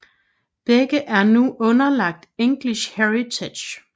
Begge er nu underlagt English Heritage